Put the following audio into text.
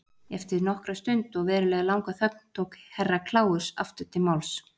Eftir nokkra stund og verulega langa þögn tók Herra Kláus aftur til máls.